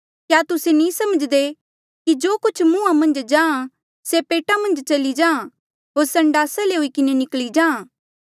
क्या तुस्से नी समझ्दे कि जो कुछ मुंहा मन्झ जाहाँ से पेटा मन्झ चली जाहाँ होर संडासा ले हुई किन्हें निकली जाहाँ